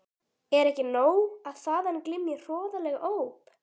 Er ekki nóg að þaðan glymji hroðaleg óp?